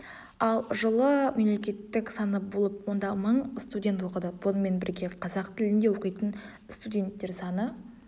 ал жылы мемлекеттік саны болып онда мың студент оқыды бұнымен бірге қазақ тілінде оқитын студенттер саны